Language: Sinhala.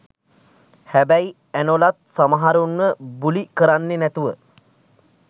හැබැයි ඇනොලත් සමහරුන්ව බුලි කරන්නේ නැතුව